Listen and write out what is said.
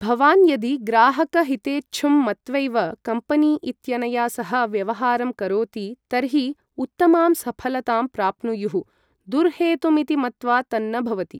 भवान् यदि ग्राहकहितेच्छुं मत्वैव कम्पनी इत्यनया सह व्यवहारं करोति तर्हि उत्तमां सफलतां प्राप्नुयुः, दुर्हेतुमिति मत्वा तन्न भवति।